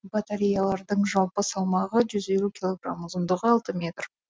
батареялардың жалпы салмағы жүз елу килограмм ұзындығы алты метр